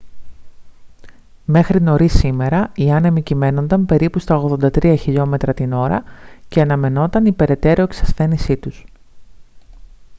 μέχρι νωρίς σήμερα οι άνεμοι κυμαίνονταν περίπου στα 83 χλμ/ ώρα και αναμενόταν η περαιτέρω εξασθένισή τους